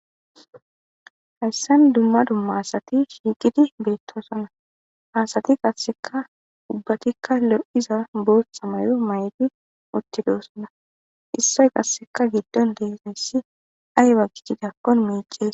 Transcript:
Hassan dumma dumma asati shiiqidi beettoosona asati qasseka dubbatikka lo'iza bootha mayo may'ti uttidoosona issoy qasseka giddon deeseyssi ayeba gitidakkon miices.